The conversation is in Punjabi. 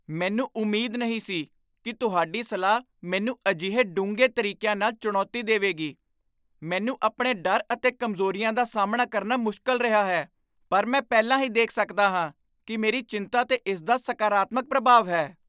ਮੈਨੂੰ ਉਮੀਦ ਨਹੀਂ ਸੀ ਕਿ ਤੁਹਾਡੀ ਸਲਾਹ ਮੈਨੂੰ ਅਜਿਹੇ ਡੂੰਘੇ ਤਰੀਕਿਆਂ ਨਾਲ ਚੁਣੌਤੀ ਦੇਵੇਗੀ! ਮੈਨੂੰ ਆਪਣੇ ਡਰ ਅਤੇ ਕਮਜ਼ੋਰੀਆਂ ਦਾ ਸਾਹਮਣਾ ਕਰਨਾ ਮੁਸ਼ਕਲ ਰਿਹਾ ਹੈ, ਪਰ ਮੈਂ ਪਹਿਲਾਂ ਹੀ ਦੇਖ ਸਕਦਾ ਹਾਂ ਕਿ ਮੇਰੀ ਚਿੰਤਾ 'ਤੇ ਇਸ ਦਾ ਸਕਾਰਾਤਮਕ ਪ੍ਰਭਾਵ ਹੈ।